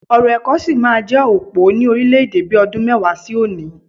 Ọ̀rọ̀ ẹ̀kọ́ sí máa jẹ́ òpó ni orílẹ̀-èdè bi ọdún mẹ́wàá sí òní